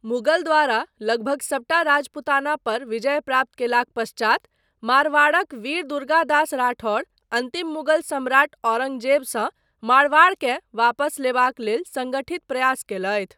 मुगल द्वारा लगभग सबटा राजपूताना पर विजय प्राप्त कयलाक पश्चात, मारवाड़क वीर दुर्गादास राठौर अन्तिम मुगल सम्राट औरंगजेबसँ मारवाड़केँ वापस लेबाक लेल सङ्गठित प्रयास कयलथि।